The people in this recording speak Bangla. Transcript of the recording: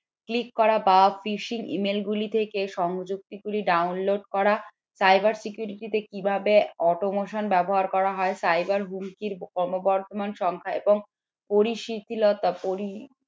click করা বা fishing email গুলি থেকে সংযুক্ত গুলি download করা cyber security তে কিভাবে automation ব্যবহার করা হয় cyber হুমকির ক্রমবর্ধমান এবং পরিচিতি লতা পরি